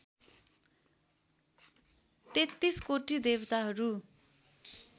तेत्तीसकोटी देवताहरू